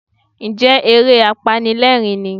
Ǹjẹ́ eré apanilẹ́rìń ni?